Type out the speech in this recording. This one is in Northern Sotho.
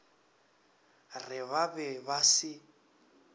re ba be ba se